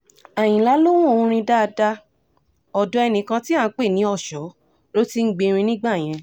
àyìnlá lohun orin dáadáa ọ̀dọ̀ ẹnìkan tí à ń pè ní ọ̀ṣọ́ ló ti ń gbẹ̀rín nígbà yẹn